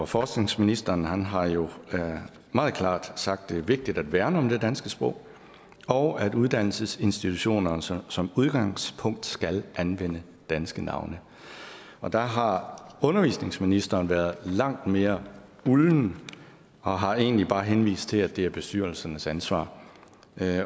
forskningsministeren har jo meget klart sagt at det er vigtigt at værne om det danske sprog og at uddannelsesinstitutionerne som som udgangspunkt skal anvende danske navne der har undervisningsministeren været langt mere ulden og har egentlig bare henvist til at det er bestyrelsernes ansvar